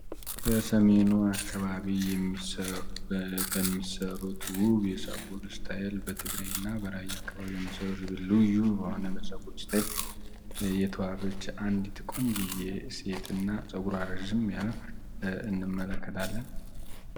በሰሜኑ አካባቢ በሚሰሩት ውብ የፀጉር እስታይል በትግራይ እና በራያ አካባቢ በሚሰሩት ውብ የሆነ የፀጉር እስታይል የተሰራች አንዲት ቆንጅየ ሴትና ፀጉሯ ረዘም ያለ እንመለከታለን።